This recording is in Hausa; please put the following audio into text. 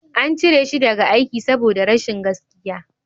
An cire shi daga aiki saboda rashin gaskiya